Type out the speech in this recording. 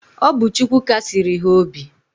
Ọ bu Chukwu Kasiri ha obi.